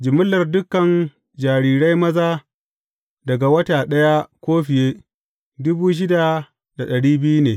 Jimillar dukan jarirai maza daga wata ɗaya ko fiye, ne.